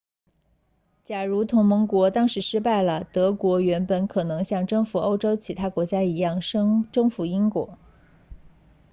假如同盟国当时失败了德国原本很可能像征服欧洲其他国家一样征服英国